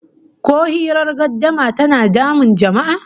Ko hirar gardama tana damun jama'a?